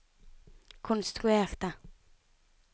konstruerte